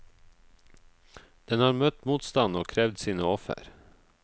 Den har møtt motstand og krevd sine offer.